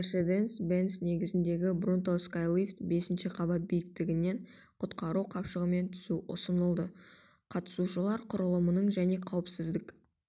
мерседес-бенц негізіндегі бронто скайлифт бесінші қабат биіктігінен құтқару қапшығымен түсу ұсынылды қатысушылар құрылымының және қауіпсіздік